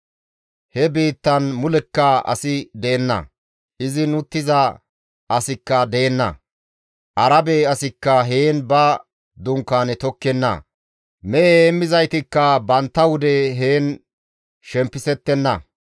He biittan mulekka asi de7enna; izin uttiza asikka deenna; Arabe asikka heen ba dunkaane tokkenna; mehe heemmizaytikka bantta wude heen shempisettenna.